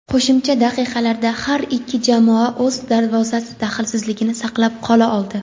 Qo‘shimcha daqiqalarda har ikki jamoa o‘z darvozasi daxlsizligini saqlab qola oldi.